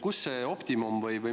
Kust see optimum tuleb?